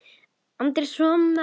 Andrés og María.